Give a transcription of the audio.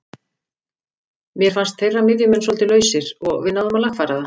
Mér fannst þeirra miðjumenn svolítið lausir og við náðum að lagfæra það.